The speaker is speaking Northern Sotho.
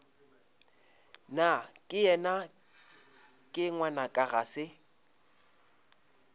nakeyena ke ngwanaka ga se